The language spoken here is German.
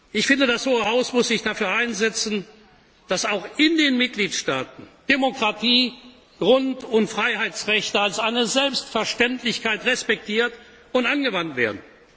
Ich finde, das Hohe Haus muss sich dafür einsetzen, dass auch in den Mitgliedstaaten Demokratie, Grund und Freiheitsrechte als eine Selbstverständlichkeit respektiert und angewandt werden.